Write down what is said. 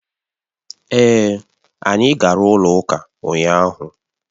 Èè, anyị gara ụlọ ụka ụnyaahụ